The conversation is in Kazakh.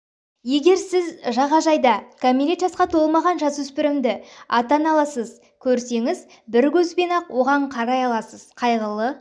егер сіз жағажайда кәмелет жасқа толмаған жасөспірімді ата-аналарыз көрсеңіз бір көзбен-ақ оған қарай аласыз қайғылы